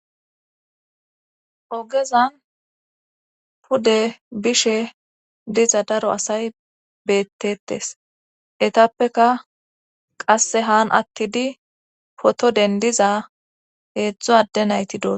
ogezan pude bishe diza daro asay beettetes etappeka qasse haan attidi poto dendiza heedzdzo adde nayti doo